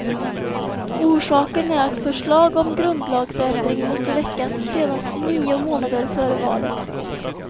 Orsaken är att förslag om grundlagsändring måste väckas senast nio månader före valet.